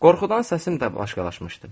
Qorxudan səsim də başqalaşmışdı.